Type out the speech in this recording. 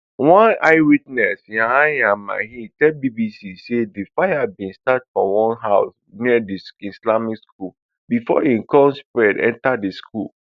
one eyewitness yahaya mahi tell bbc say di fire bin start for one house near di islamic school before e come spread enta di school